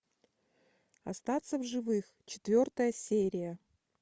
остаться в живых четвертая серия